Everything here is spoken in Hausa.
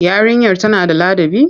Yarinyar tana da ladabi?